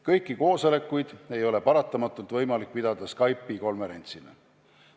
Kõiki koosolekuid ei ole paratamatult võimalik pidada Skype'i konverentsina.